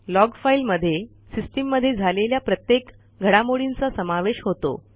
log file मध्ये सिस्टीममध्ये झालेल्या प्रत्येक घडामोडींचा समावेश होतो